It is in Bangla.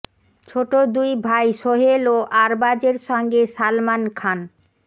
ছোট দুই ভাই সোহেল ও আরবাজের সঙ্গে সালমান খান